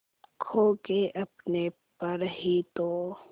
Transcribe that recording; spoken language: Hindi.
खो के अपने पर ही तो